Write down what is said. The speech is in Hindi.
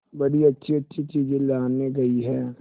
बड़ी अच्छीअच्छी चीजें लाने गई है